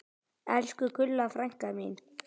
Elsku Gulla frænka mín.